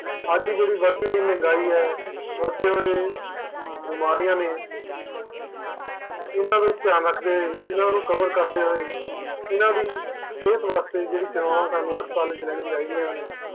ਅੱਜ ਦੀ ਜਿਹੜੀ ਵੱਧ ਦੀ ਹੋਈ ਮਹਿੰਗਾਈ ਆਵੱਧ ਦੇ ਹੋਏ ਬਿਮਾਰੀਆਂ ਨੇ ਇਹਨਾਂ ਨੂੰ ਧਿਆਨ ਰੱਖਦੇ ਇਹਨਾਂ ਨੂੰ cover ਕਰਦੇ ਹੋਏ ਇਹਨਾਂ ਦੀ ਸਿਹਤ ਵਾਸਤੇ ਜਿਹੜੀ ਸੇਵਾ ਸਾਨੂ ਹਸਪਤਾਲ ਵਿਚ ਲੈਣੀਆਂ ਚਾਹੀਦੀਆਂ ਨੇ